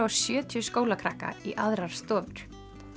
og sjötíu skólakrakka í aðrar stofur